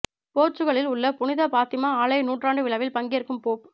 போர்ச்சுகலில் உள்ள புனித பாத்திமா ஆலய நூற்றாண்டு விழாவில் பங்கேற்கும் போப்